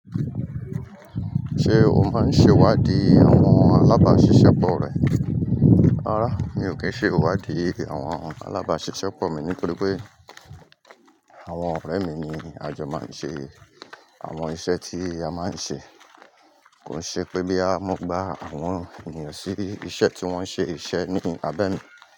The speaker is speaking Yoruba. Ṣé o máa ń ṣe ìwádìí àwọn alábáṣiṣẹ́pọ̀ rẹ? Rárá, mi ò kí ń ṣe ìwádìí àwọn alábáṣiṣẹ́pọ̀ mi nítorí pé àwọn ọ̀rẹ́ mi ni a jọ máa ń ṣe àwọn iṣẹ́ tí a máa ń ṣe. Kò ṣe pé bí a bá mú gba àwọn ènìyàn sí iṣẹ́ tí wọ́n ṣe iṣẹ́ ní abẹ́ mi.